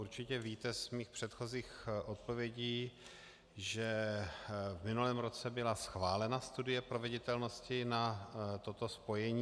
Určitě víte z mých předchozích odpovědí, že v minulém roce byla schválena studie proveditelnosti na toto spojení.